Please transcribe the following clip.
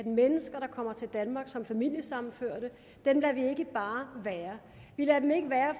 mennesker der kommer til danmark som familiesammenførte være vi lader dem ikke være